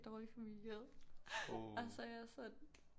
Dårligt for miljøet og så er jeg sådan